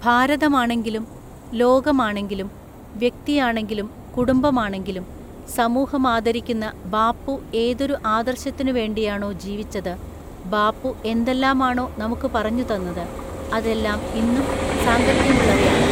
ഭാരതമാണെങ്കിലും ലോകമാണെങ്കിലും, വ്യക്തിയാണെങ്കിലും കുടുംബമാണെങ്കിലും സമൂഹമാദരിക്കുന്ന ബാപ്പു ഏതൊരു ആദര്‍ശത്തിനുവേണ്ടിയാണോ ജീവിച്ചത്, ബാപ്പു എന്തെല്ലാമാണോ നമുക്കു പറഞ്ഞുതന്നത്, അതെല്ലാം ഇന്നും സാംഗത്യമുള്ളവയാണ്.